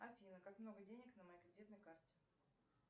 афина как много денег на моей кредитной карте